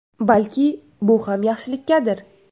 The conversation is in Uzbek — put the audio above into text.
Balki bu ham yaxshilikkadir.